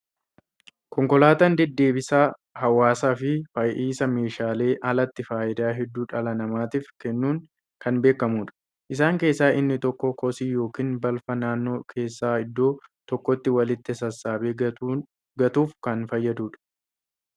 Konkolaataan deddeebisa hawaasaa fi fe'iisa meeshaaleen alatti fayidaa hedduu dhala namatiif kennuun kan beekamudha. Isaan keessaa inni tokko kosii yookaan balfaa naannoo keessaa iddoo tokkotti walitti sassaabee gatuuf kan fayyadudha.